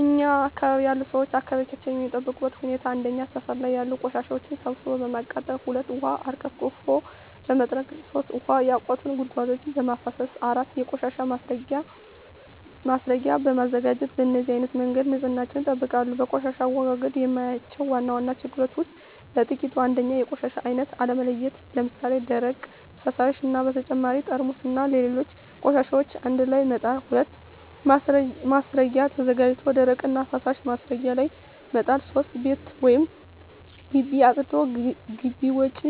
እኛ አካባቢ ያሉ ሠዎች አካባቢያቸውን የሚጠብቁበት ሁኔታ 1. ሠፈር ላይ ያሉ ቆሻሻዎችን ሠብስቦ በማቃጠል 2. ውሀ አርከፍክፎ በመጥረግ 3. ውሀ ያቋቱ ጉድጓዶችን በማፋሠስ 4. የቆሻሻ ማስረጊያ በማዘጋጀት በነዚህ አይነት መንገድ ንፅህናቸውን ይጠብቃሉ። በቆሻሻ አወጋገድ የማያቸው ዋና ዋና ችግሮች ውስጥ በጥቂቱ 1. የቆሻሻ አይነት አለመለየት ለምሣሌ፦ ደረቅ፣ ፈሣሽ እና በተጨማሪ ጠርሙስና ሌሎች ቆሻሻዎችን አንድላይ መጣል። 2. ማስረጊያ ተዘጋጅቶ ደረቅና ፈሣሽ ማስረጊያው ላይ መጣል። 3. ቤት ወይም ግቢ አፅድቶ ግቢ ውጭ